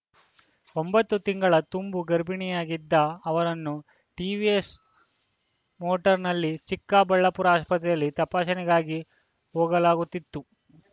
ಒಂಬತ್ತು ತಿಂಗಳ ತುಂಬು ಗರ್ಭಿಣಿಯಾಗಿದ್ದ ಅವರನ್ನು ಟಿವಿಎಸ್‌ ಮೋಟರ್ ನಲ್ಲಿ ಚಿಕ್ಕಬಳ್ಳಾಪುರ ಆಸ್ಪತ್ರೆಯಲ್ಲಿ ತಪಾಸಣೆಗಾಗಿ ಹೋಗಲಾಗುತ್ತಿತ್ತು